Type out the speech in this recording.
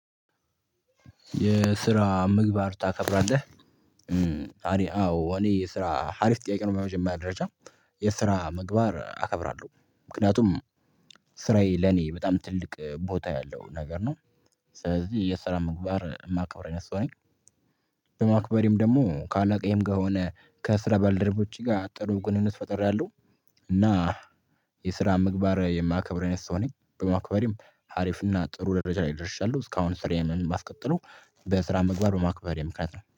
የስራ ምግባር ታከብራለህ? አሪፍ አዎ እኔ ስራ ሀሪፍ ጥያቄ ነው። በመጀመርያ ደረጃ የስራ ምግባር አከብራለሁ። ምክንያቱም ስራዬ ለኔ በጣም ትልቅ ቦታ ያለው ነገር ነው። ስለዚህ የስራ ምግባር የማከብር አይነት ሰው ነኝ በማክበሬም ደግሞ ካለቃዬም ጋር ሆነ ከስራ ባልደረቦቼ ጋር ጥሩ ግንኙነት ፈጥሬያለ። እና የስራ ምግባር የማከብር አይነት ሰው ነኝ በማከበሬም ሀሪፍና ጥሩ ደረጃ ላይ ይደርሻያለሁ። እስካሁን ስርዬን ማስቀጥለው በስራ ምግባር በማክበር የምክንያት ነው።